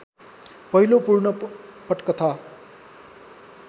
पहिलो पूर्ण पटकथा